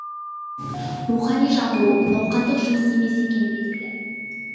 рухани жаңғыру науқандық жұмыс емес екені белгілі